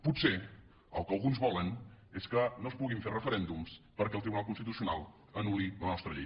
potser el que alguns volen és que no es puguin fer referèndums perquè el tribunal constitucional anul·li la nostra llei